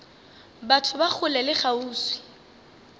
batho ba kgole le kgauswi